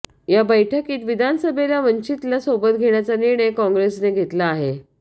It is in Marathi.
या बैठकीत विधानसभेला वंचितला सोबत घेण्याचा निर्णय काँग्रेसने घेतला आहे